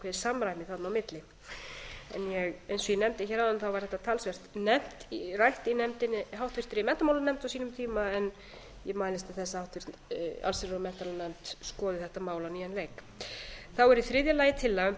samræmi þarna á milli eins og ég nefndi hér áðan var þetta talsvert rætt í háttvirtri menntamálanefnd á sínum tíma en ég mælist til þess að háttvirt allsherjar og menntamálanefnd skoði þetta mál á nýjan leik þá er í þriðja lagi tillaga um